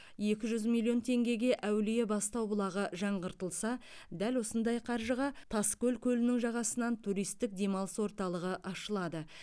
екі жүз миллион теңгеге әулие бастау бұлағы жаңғыртылса дәл осындай қаржыға тас көл көлінің жағасынан туристік демалыс орталығы ашылады